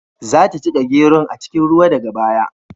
Za ta jiƙa geron a cikin ruwa daga baya.